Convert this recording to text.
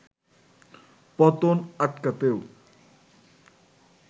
পতন আটকাতেও